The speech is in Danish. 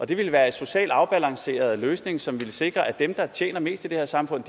det ville være en socialt afbalanceret løsning som ville sikre at dem der tjener mest i det her samfund